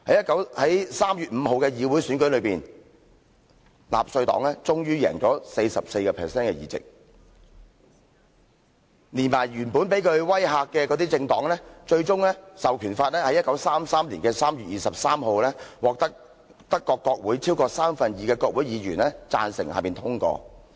在3月5日的議會選舉上，納粹黨終於贏得 44% 的議席，連同原本被他威嚇的政黨，最終《授權法》在1933年3月23日獲得德國國會超過三分之二的國會議員贊成通過。